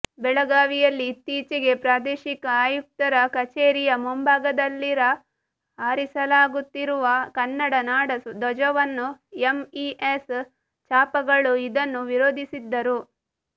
ಬೆಳಗಾವಿಯಲ್ಲಿ ಇತ್ತೀಚೆಗೆ ಪ್ರಾದೇಶಿಕ ಆಯುಕ್ತರ ಕಚೇರಿಯ ಮುಂಭಾಗದಲ್ಲಿರ ಹಾರಿಸಲಾಗುತ್ತಿರುವ ಕನ್ನಡ ನಾಡ ಧ್ವಜವನ್ನು ಎಮ್ಇಎಸ್ ಛಾಪಾಗಳು ಇದನ್ನು ವಿರೋಧಿಸಿದ್ದರು